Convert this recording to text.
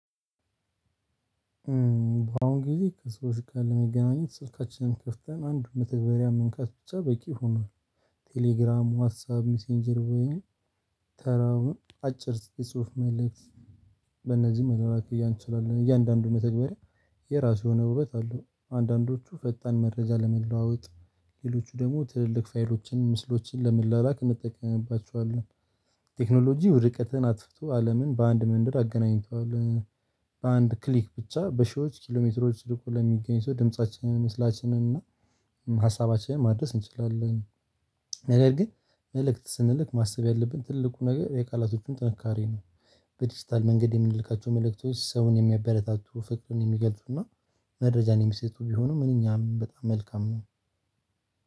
በአሁን ጊዜ ከሰዎች ጋር ለመገናኘት ስልካችንን ከፍተን አንድ መተግበሪያ መንካት ብቻ በቂ ሆኗል። ቴሌግራም ዋትሳፕ ሚሴንጀር ወይንም ተራውን አጭር ጽሁፍ መልእክት በእነዚህ መላላክ እንችላለን። እያንዳንዱ መተግበሪያ የራሱ የሆነ ውበት አለው። አንዳንዶቹ ፈጣን መረጃ ለመለዋወጥ ሌሎቹ ደግሞ ትልልቅ ፋይሎችን ምስሎችን ለመለላላክ እንጠቀምባቸዋለን። ቴክኖሎጂ ርቀትን አጥፍቶ አለምን በአንድ መንደር አገናኝተዋል። በአንድ ክሊክ ብቻ በሺዎች ኪሎሜትሮች ርቆ ለሚገኝ ሰው ድምፃችንን ምስላችንና ሀሳባችንን ማደረስ እንችላለን። ነገር ግን መልእክት ስንልክ ማሰብ ያለብን ትልቁ ነገር የቃላቶቹን ጥንካሬ ነው። በዲጂታል መንገድ የምንልካቸው መልእክቶች ሰውን የሚያበረታቱ ፍቅሩን የሚገልጡና መረጃን የሚሰጡ ቢሆኑ ምንኛ በጣም መልካም ነው።